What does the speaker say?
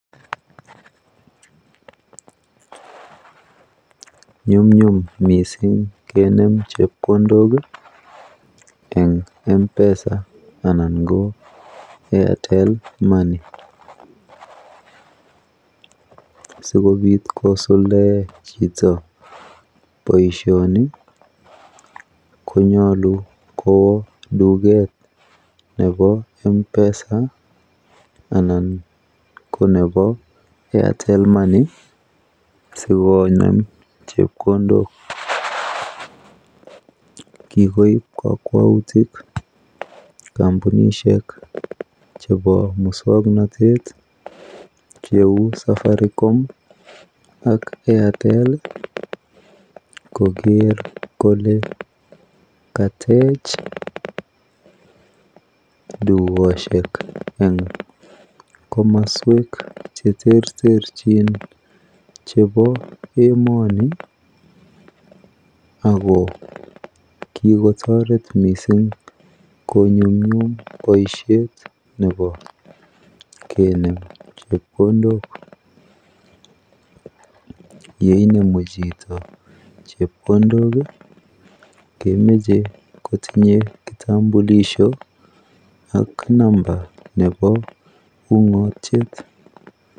Nyumnyum mising kenam chepkondok eng Mpesa anan ko Airtel money, sikobit kosuldoen chito boisyoni konyalu kowal duket nebo Mpesa anan ko nebo Airtel money, sikonem chepkondok, kikoib kakwautik kampunisyek chebo muswoknotet cheu safaricom ak Airtel koger kole katech dukoshek eng komaswek cheterterchin chebo emani ,ako kikotoret mising konyumnyum boisyet nebo kenem chepkondok ,yeinemu chito chepkondok kemache kotinye kitambulisho ak namba nebo ungotyet.